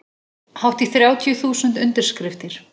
Hátt í þrjátíu þúsund undirskriftir